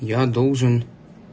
я должен